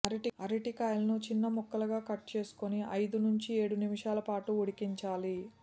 అరటికాయలను చిన్న ముక్కలుగా కట్ చేసుకుని ఐదు నుంచి ఏడు నిమిషాల పాటు ఉడికించాలి